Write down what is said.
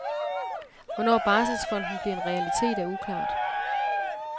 Hvornår barselsfonden bliver en realitet er uklart.